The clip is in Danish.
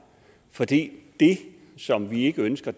for det som vi ikke ønsker